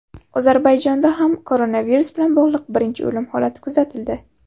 Ozarbayjonda ham koronavirus bilan bog‘liq birinchi o‘lim holati kuzatildi.